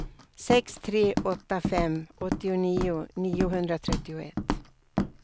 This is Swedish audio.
sex tre åtta fem åttionio niohundratrettioett